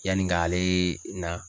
Yanni k'aleee na.